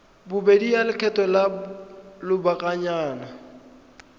bobedi ya lekgetho la lobakanyana